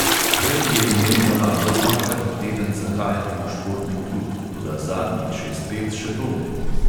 Prej je imel navado dvakrat na teden zahajati v športni klub, toda zadnjih šest let še to ne.